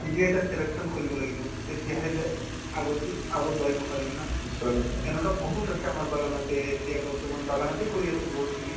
নিজে এটা selection কৰিব লাগিব তেতিয়াহে যে আগতো আগত বাঢ়িব পাৰিম না তেনেকুৱা বহুত আছে বাগানতে এতিয়া বৰ্তমান বাগানতে কৰি আছে বহুতখিনি